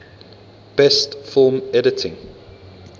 best film editing